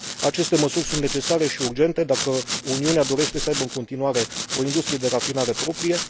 Aceste măsuri sunt necesare și urgente, dacă Uniunea dorește să aibă în continuare o industrie de rafinare proprie.